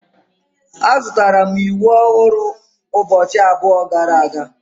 Azụtara m ịwụ ọhụrụ ụbọchị abụọ gara aga.